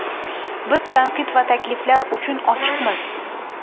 Biz tanqid va takliflar uchun ochiqmiz.